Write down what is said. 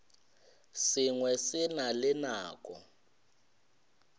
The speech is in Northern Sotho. sengwe se na le nako